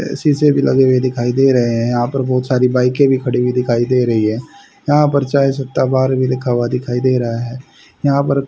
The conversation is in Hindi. अह शीशे भी लगे हुए दिखाई दे रहे हैं यहां पर बहुत सारी बाईकें भी खड़ी हुई दिखाई दे रही है यहां पर चाय सुट्टा बार भी लिखा हुआ दिखाई दे रहा है यहां पर --